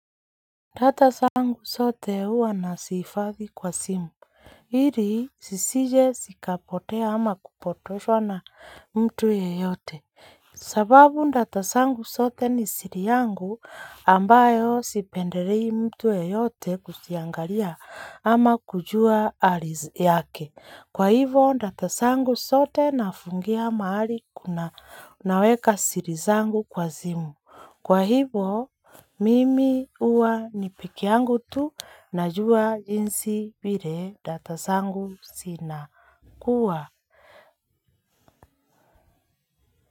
Data zangu zote huwa nazihifadhi kwa simu ili zisije zikapotea ama kupotoshwa na mtu yeyote. Sababu data zangu zote ni siri yangu ambayo sipendelei mtu yeyote kuziangalia ama kujua hali yake. Kwa hivyo, data zangu zote nafungia mahali kuna naweka siri zangu kwa simu. Kwa hivyo mimi huwa ni peke yangu tu najua jinsi vile data zangu zinakuwa.